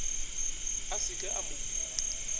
a se ke a mo